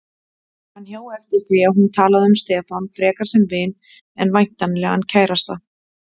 Hann hjó eftir því að hún talaði um Stefán frekar sem vin en væntanlegan kærasta.